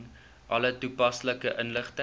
alle toepaslike inligting